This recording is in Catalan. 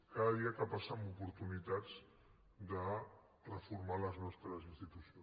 cada dia que passa en oportunitats de reformar les nostres institucions